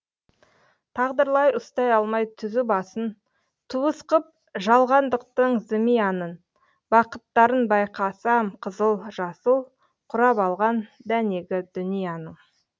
тағдырлар ұстай алмай түзу басын туыс қып жалғандықтың зымиянын бақыттарын байқасам қызыл жасыл құрап алған дәнегі дүнияның